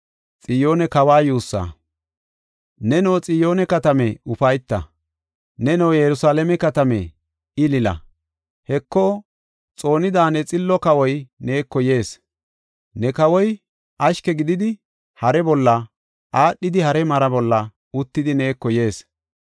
Neno, Xiyoone katame, ufayta! Neno, Yerusalaame katame, ilila! Heko, xoonida ne xillo kawoy neeko yees. Ne kawoy ashke gididi, hare bolla, aadhidi hare mara bolla uttidi neeko yees.